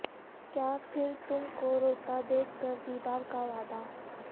کیا پھر تم کو روتا دیکھ کر دیدار کا وعدہ